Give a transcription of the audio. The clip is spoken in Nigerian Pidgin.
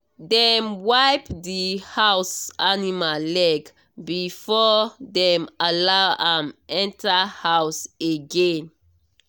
dem wipe the house animal leg before dem allow am enter house again.